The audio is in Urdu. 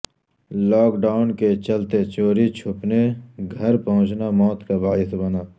لاک ڈائون کے چلتے چوری چھپنے گھر پہنچنا موت کا باعث بنا